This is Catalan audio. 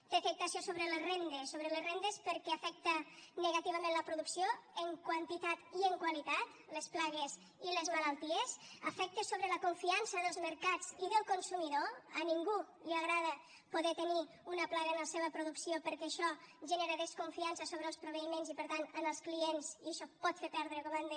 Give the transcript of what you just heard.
té afectació sobre les rendes sobre les rendes perquè afecten negativament en la producció en quantitat i en qualitat les plagues i les malalties afecta sobre la confiança dels mercats i del consumidor a ningú li agrada poder tenir una plaga en la seva producció perquè això genera desconfiança sobre els proveïments i per tant en els clients i això pot fer perdre comandes